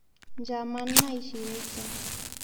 Nchaman naishireita